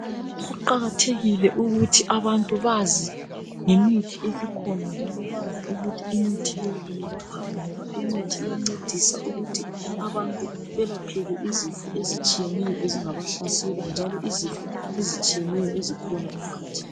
Kuqakathekile ukuthi abantu bazingemithi esikhona njalo bazi kuthi imithi le yelaphani ngoba imithi iyancedisa ukuthi abantu ebalapheke izifo ezitshiyeneyo ezingabahlasela njalo izifo ezitshiyeneyo ezikhona emkhathini